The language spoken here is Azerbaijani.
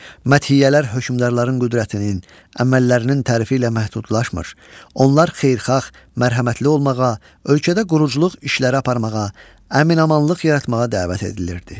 Məthiyyələr hökmdarların qüdrətinin, əməllərinin tərifi ilə məhdudlaşmır, onlar xeyirxah, mərhəmətli olmağa, ölkədə quruculuq işləri aparmağa, əmin-amanlıq yaratmağa dəvət edilirdi.